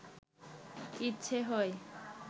ইচ্ছে হয়